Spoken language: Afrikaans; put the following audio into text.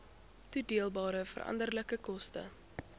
toedeelbare veranderlike koste